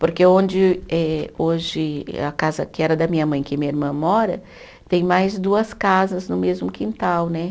Porque onde eh, hoje a casa que era da minha mãe, que minha irmã mora, tem mais duas casas no mesmo quintal, né?